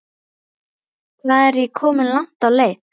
Hvað er ég komin langt á leið?